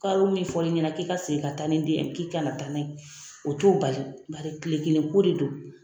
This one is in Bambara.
Karo min fɔra i ɲɛnɛ k'i ka segin ka taa ni den ye k'i kana taa n'a ye o t'o bali bari kile kelen ko de do.